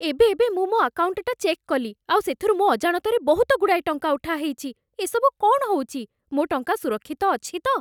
ଏବେ ଏବେ ମୁଁ ମୋ' ଆକାଉଣ୍ଟ୍‌ଟା ଚେକ୍ କଲି, ଆଉ ସେଥିରୁ ମୋ ଅଜାଣତରେ ବହୁତଗୁଡ଼ାଏ ଟଙ୍କା ଉଠା ହେଇଛି । ଏସବୁ କ'ଣ ହଉଛି? ମୋ' ଟଙ୍କା ସୁରକ୍ଷିତ ଅଛି ତ?